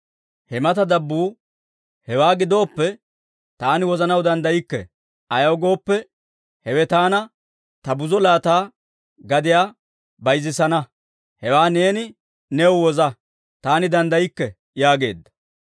Ha mata dabbuu, «Hewaa gidoppe, taani wozanaw danddaykke; ayaw gooppe, hewe taana ta buzo laata gadiyaa bayzissana. Hewaa neeni new woza; taani danddaykke» yaageedda.